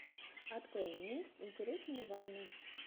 открой мне интересные вайны